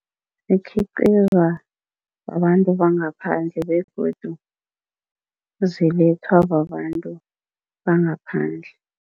Zikhiqizwa babantu bangaphandle begodu zilethwa babantu bangaphandle.